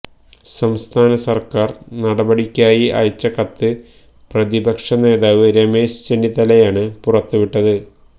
സംസ്ഥാന സര്ക്കാര് നടപടിക്കായി അയച്ച കത്ത് പ്രതിപക്ഷ നേതാവ് രമേശ് ചെന്നിത്തലയാണ് പുറത്തുവിട്ടത്